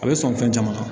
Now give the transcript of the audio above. A bɛ sɔn fɛn caman kan